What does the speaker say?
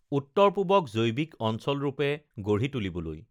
উত্তৰ পূৱক জৈৱিক অঞ্চল ৰূপে গঢ়ি তুলিবলৈ